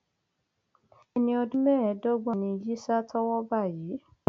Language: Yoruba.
ẹni ọdún mẹẹẹdọgbọn ni yisa tọwọ bá yìí